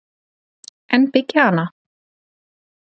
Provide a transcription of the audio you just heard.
En byggja hana?